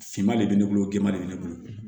Finman de bɛ ne bolo gindo de bɛ ne bolo